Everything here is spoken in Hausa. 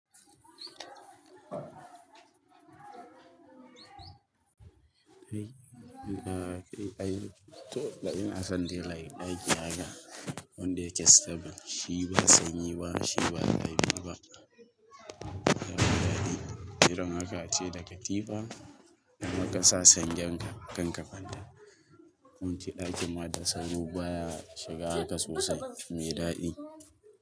Eh, in da kai ɗaya, to inason dai like ɗaki haka wanda yake stable. Shi ba sanyi ba, shi ba zafi ba. Yana da daɗi. Irin haka tai da katifa, da muka sa sanjen ka kan kafada. Mun ci ɗakin ma da sauro baya shiga haka sosai, me ɗaɗi.